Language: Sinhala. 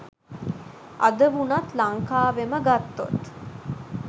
අද වුනත් ලංකාවෙම ගත්තොත්